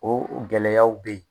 O gɛlɛyaw bɛ yen.